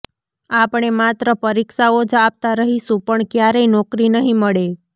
આપણે માત્ર પરીક્ષાઓ જ આપતા રહીશું પણ ક્યારેય નોકરી નહી મળે